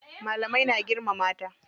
Malamai na girmama ta.